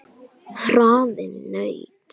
Hraðinn nautn.